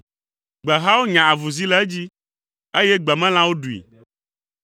Gbehawo nya avuzi le edzi, eye gbemelãwo ɖui.